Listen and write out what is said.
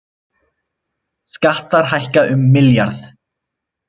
Skattar hækka um milljarð